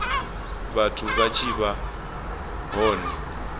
vhathu vha tshi vha hone